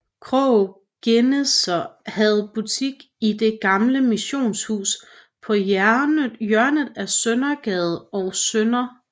Krogh Geneser havde butik i det gamle missionshus på hjørnet af Søndergade og Sdr